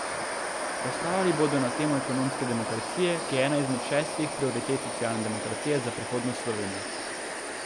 Razpravljali bodo na temo ekonomske demokracije, ki je ena izmed šestih prioritet socialne demokracije za prihodnost Slovenije.